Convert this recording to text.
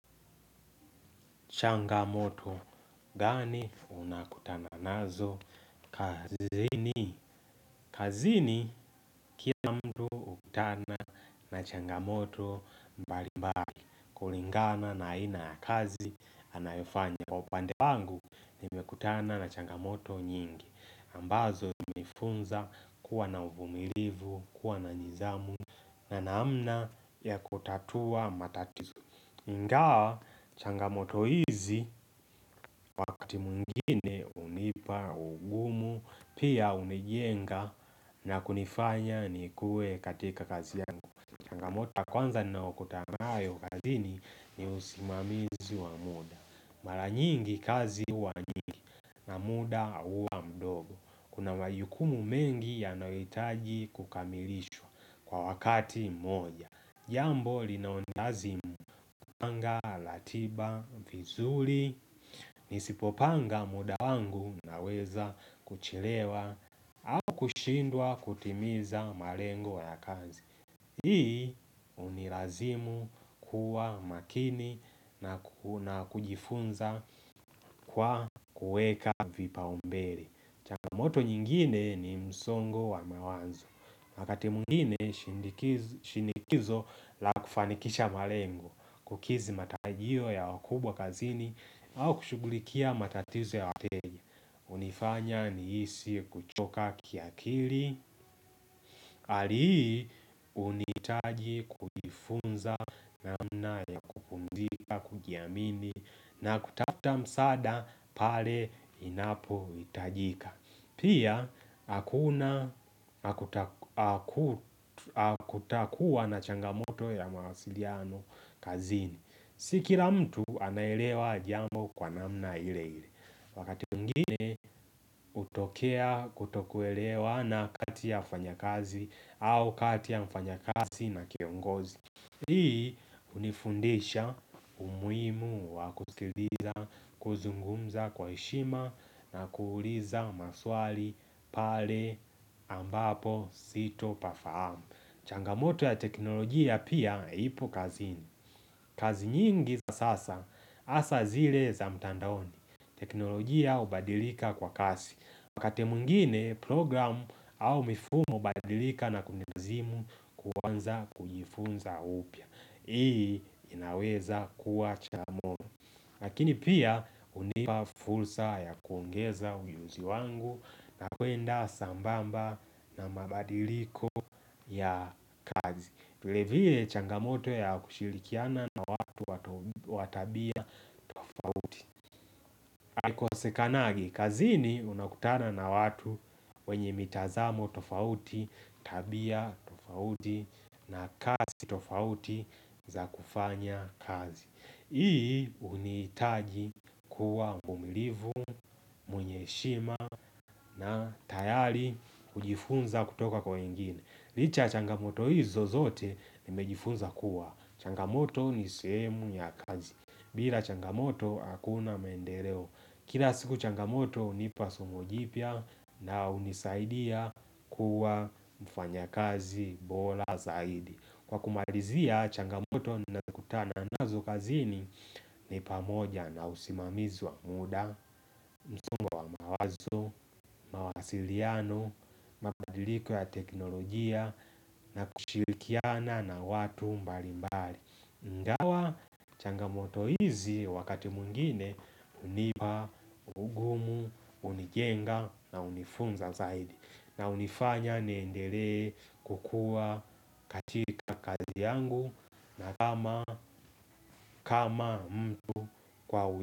Changamoto. Gani unakutana nazo? Kazini. Kazini kila mtu hukutana na changamoto mbali mbali. Kulingana na ina ya kazi anayofanya. Kwa upande wangu nimekutana na changamoto nyingi. Ambazo mifunza kuwa na uvumilivu, kuwa na nidhamu na naamna ya kutatua matatizo ingawa changamoto hizi wakati mwingine hunipa, ungumu, pia unijenga na kunifanya ni kue katika kazi yangu. Changamoto kwanza ninaokotana nayo ukazini ni usimamizi wa muda. Mara nyingi kazi huwa nyingi muda uwa mdogo. Kuna mayukumu mengi yanohiitaji kukamilishwa kwa wakati mmoja. Jambo linaonjazi kupanga, latiba, vizuri, nisipopanga muda wangu na weza kuchelewa au kushindwa kutimiza marengo ya kazi. Hii hunirazimu kuwa makini na kuna kujifunza kwa kueka vipaumbere. Changamoto nyingine ni msongo wa mawanzo. Wakati mungine shindiki shinikizo la kufanikisha malengo, kukizi matarajio ya wakubwa kazini au kushugulikia matatizo ya wateja. Hunifanya nihisi kuchoka kiakili ali hii hunitaji kufunza namna ya kupumzika kujiamini na kutafta msada pale inapo hitajika Pia hakuna hakutakuwa na changamoto ya mahasiliano kazini Si kila mtu anaelewa jambo kwa namna ile ile wakati mwingine kutokea kutokuoelewa na kati ya wafanyakazi au kati ya mfanyakazi na kiongozi Hii hunifundisha umuhimu wa kusikiliza kuzungumza kwa heshima na kuuliza maswali pale ambapo sito pafahamu changamoto ya teknolojia pia ipo kazini kazi nyingi za sasa hasa zile za mtandaoni teknolojia hubadilika kwa kasi wakati mwngine program au mifumo hubadilika na kunizimu kuwanza kujifunza upya hii inaweza kuwa chamoto Lakini pia hunipa fulsa ya kuongeza uyuzi wangu na kuenda sambamba na mabadiliko ya kazi vilevile changamoto ya kushilikiana na watu watabia tofauti haukosekanagi, kazini unakutana na watu wenye mitazamo tofauti, tabia tofauti na kazi tofauti za kufanya kazi. Hii hunitaji kuwa mvumilivu, mwenye heshima na tayari kujifunza kutoka kwa wengine. Licha changamoto hizo zote nimejifunza kuwa. Changamoto ni suhemu ya kazi. Bila changamoto hakuna mendereo. Kila siku changamoto hunipa sumu jipya na hunisaidia kuwa mfanya kazi bola zaidi Kwa kumalizia changamoto na kutana nazo kazini Nipamoja na usimamizi wa muda, msombo mawazo, mawasiliano, mabadiliko ya teknolojia na kushirikiana na watu mbali mbali dawa changamoto hizi wakati mwingine hunipa, ungumu, unijenga na hunifunza zaidi. Na hunifanya neendele kukua katika kazi yangu na kama mtu kwa uja.